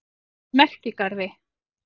Merkigarði